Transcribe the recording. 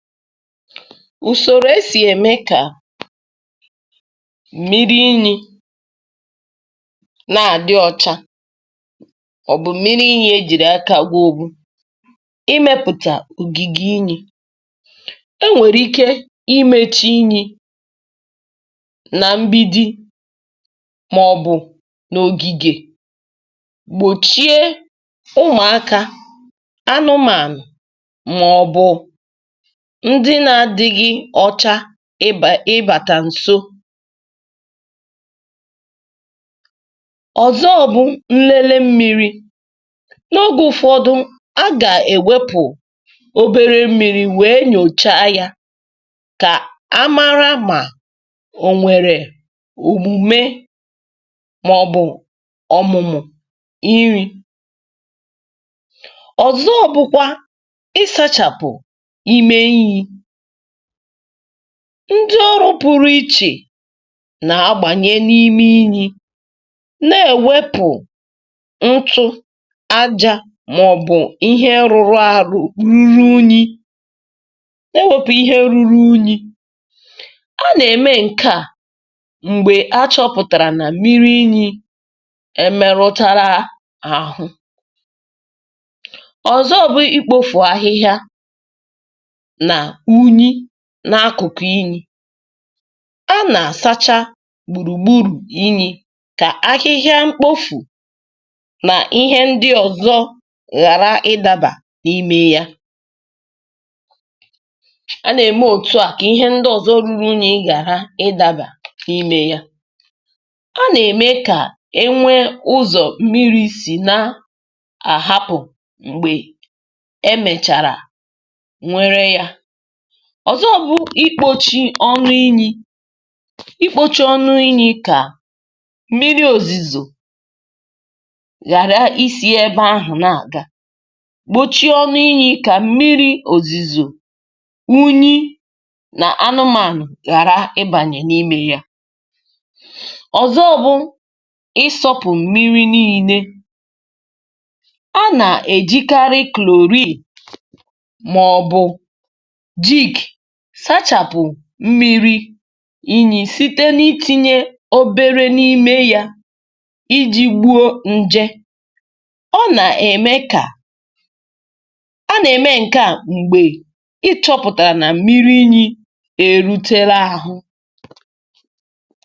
Ụzọ e si echekwa ka mmiri inyi dị ọcha gụnyere iwulite inyi ahụ nke ọma, ma lekọta ya mgbe e wuruchara ya. Na mbido, mgbe a kụrụ inyi ọhụrụ, ndị mmadụ na-emekarị ogige gbara ya gburugburu, ka ụmụaka, anụmanụ, ma ọ bụ unyi ghara ịbanye n’ime ya. Ụzọ ọzọ bụ iwepụta obere ihe nlele mmiri site n’oge ruo n’oge iji nyochaa ya, iji mara ma e merụla ya ma ọ bụ ma o nwere ọrịa. E nwekwara omume nke ịsacha ebe gbara inyi ahụ gburugburu. Nke a pụtara iwepụ ihe mkpofu, ahịhịa, ma ọ bụ unyi, um ma wepụ ihe ọ bụla nwere ike ime ka mmiri rụọ arụ. A na-eme nke a mgbe achọpụtara na mmiri inyi ahụ emetụtala. Ndị mmadụ na-asachakwa ma na-edebe ebe gbara ya gburugburu ka ọ dị ọcha, um iji gbochie mkpofu, ahịhịa, ma ọ bụ ihe ndị ọzọ na-adịghị ọcha ịdaba n’ime inyi ahụ. Ha na-elekwa anya ka e nwee ụzọ mmiri si apụ mgbe ejirichara ya, um ka ọ ghara ịnọ ọdụ ma mee ka mmiri ghara ịdị mma. Ụzọ ọzọ bụ ikpuchi ọnụ inyi ahụ. Mgbe e kpuchiri ya, mmiri ozuzo ma ọ bụ mmiri si n’elu agaghị abanye ozugbo n’ime ya, um ma anụmanụ agaghị enwe ike ịbanye. N’ikpeazụ, e nwekwara ụzọ nke ịsacha mmiri ahụ nke ọma. Ụfọdụ oge, ndị mmadụ na-eji chlorine site n’itinye obere n’ime mmiri ahụ, um iji gbuo nje ma mee ka ọ bụrụ nke dị mma iji. Nke a na-eme mgbe achọpụtara na mmiri inyi ahụ emetụtala.